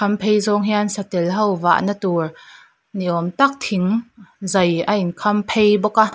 a kham phei zawng hian satel ho vahna tur ni awm tak thing zai a in kham phei bawk a.